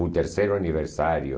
O terceiro aniversário.